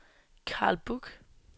Carl Buch